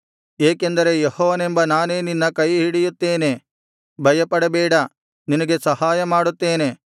ಏಕೆಂದರೆ ಯೆಹೋವನೆಂಬ ನಾನೇ ನಿನ್ನ ಕೈಹಿಡಿಯುತ್ತೇನೆ ಭಯಪಡಬೇಡ ನಿನಗೆ ಸಹಾಯಮಾಡುತ್ತೇನೆ